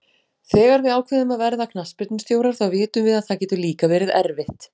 Þegar við ákveðum að verða knattspyrnustjórar þá vitum við að það getur líka verið erfitt.